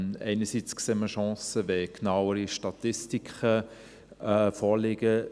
Einerseits sehen wir Chancen, wenn genauere Statistiken vorliegen.